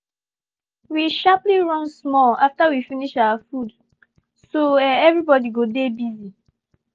we sharply run small after we finish our food so um every body go dey busy